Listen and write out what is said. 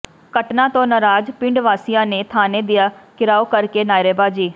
ਘਟਨਾ ਤੋਂ ਨਾਰਾਜ਼ ਪਿੰਡ ਵਾਸ਼ੀਆਂ ਨੇ ਥਾਣੇ ਦਾ ਘਿਰਾਓ ਕਰਕੇ ਨਾਅਰੇਬਾਜ਼ੀ